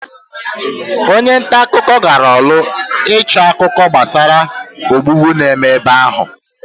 Onye nta akụkọ gara orlu ịchọ akụkọ gbasara ogbugbu na-eme ebe ahụ.